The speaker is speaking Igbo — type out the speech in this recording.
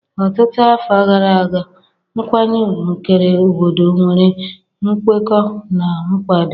Ọtụtụ afọ gara aga, nkwanye ùgwù kere obodo nwere nkwekọ na nkwado.